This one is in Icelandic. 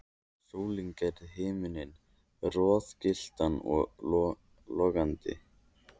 Sólin gerði himininn roðagylltan og logandi.